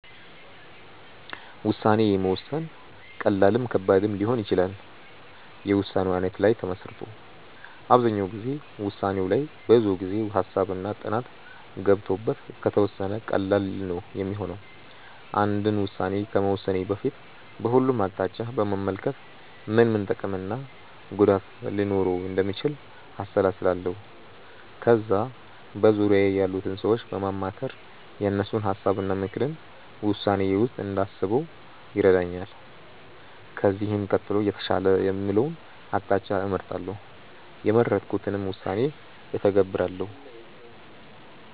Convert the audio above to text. ውሳኔ መወሰን ቀላልም ከባድም ሊሆን ይችላል የውሳኔው አይነት ላይ ተመስርቶ። አብዛኛው ጊዜ ውሳኔው ላይ ብዙ ጊዜ፣ ሃሳብ እና ጥናት ገብቶበት ከተወሰነ ቀላል ነው ሚሆነው። አንድ ውስን ከመወሰኔ በፊት በሁሉም አቅጣጫ በመመልከት ምን ምን ጥቅም እና ጉዳት ሊኖረው እንደሚችል አሰላስላለው። ከዛ በዙርያዬ ያሉትን ሰዎች በማማከር የእነሱን ሀሳብ እና ምክርን ውሳኔዬ ውስጥ እንዳስበው ይረዳኛል። ከዚህም ቀጥሎ የተሻለ የምለውን አቅጣጫ እመርጣለው። የመረጥኩትንም ውሳኔ እተገብራለው።